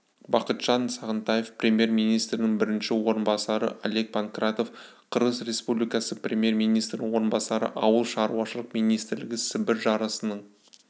бақытжан сағынтаев премьер-министрінің бірінші орынбасары олег панкратов қырғыз республикасы премьер-министрінің орынбасары ауыл шаруашылық министрлігі сібір жарасының